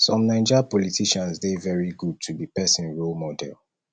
some naija politicians dey very good to be pesin role model